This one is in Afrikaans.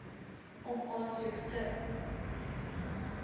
om aansoek te